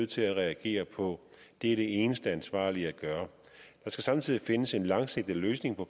til at reagere på det er det eneste ansvarlige at gøre der skal samtidig findes en langsigtet løsning på